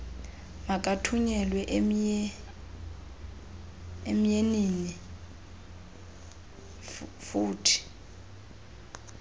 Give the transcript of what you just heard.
makathunyelwe emyeniinl lfuthe